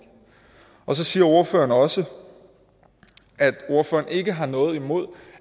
så siger ordføreren også at ordføreren ikke har noget imod